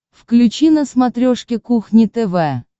включи на смотрешке кухня тв